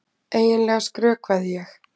Eiginlega skrökvaði ég.